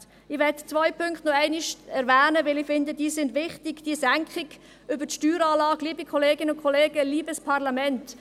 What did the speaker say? Ich möchte noch einmal zwei Punkte erwähnen, weil ich finde, dass sie wichtig sind, nämlich die Senkung über die Steueranlage.